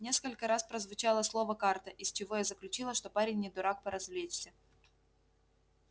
несколько раз прозвучало слово карта из чего я заключила что парень не дурак поразвлечься